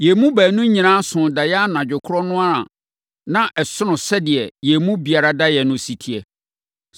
Yɛn baanu nyinaa soo daeɛ anadwo korɔ no ara a na ɛsono sɛdeɛ yɛn mu biara daeɛ no si teɛ.